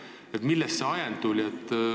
Millest selle muudatuse ajend tuli?